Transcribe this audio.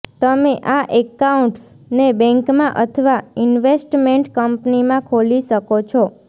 તમે આ એકાઉન્ટ્સને બેંકમાં અથવા ઇન્વેસ્ટમેન્ટ કંપનીમાં ખોલી શકો છો